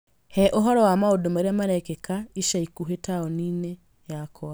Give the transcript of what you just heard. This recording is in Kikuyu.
He ũhoro wa maũndũ marĩa marekĩka ica ikuhĩ taũni-inĩ yakwa.